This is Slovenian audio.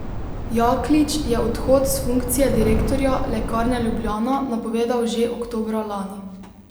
Jaklič je odhod s funkcije direktorja Lekarne Ljubljana napovedal že oktobra lani.